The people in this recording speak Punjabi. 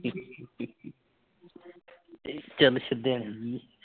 ਚੱਲ ਸ਼ੁਦੈਣ ਜੀ